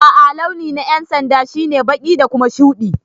A'a launi na yan'sanda shine baki da Kuma shude.